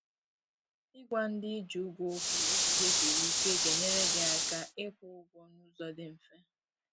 i gwa ndị ị ji ụgwọ okwu oge ihe siri ike ga enyere gị aka ị kwụ ụgwọ na ụzọ dị mfe